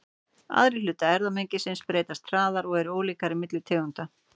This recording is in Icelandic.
Aðrir hlutar erfðamengisins breytast hraðar og eru ólíkari milli tegunda.